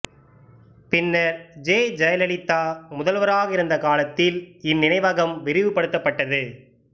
பின்னர் ஜெ ஜெயலலிதா முதல்வராக இருந்த காலத்தில் இந்நினைவகம் விரிவுபடுத்தப்பட்டது